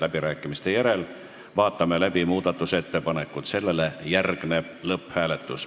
Läbirääkimiste järel vaatame läbi muudatusettepanekud, sellele järgneb lõpphääletus.